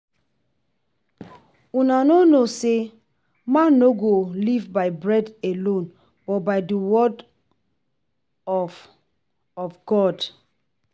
Una no know say man no go live by bread alone but by the word of of God